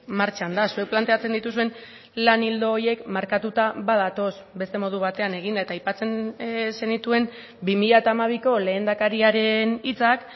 martxan da zuek planteatzen dituzuen lan ildo horiek markatuta badatoz beste modu batean egin eta aipatzen zenituen bi mila hamabiko lehendakariaren hitzak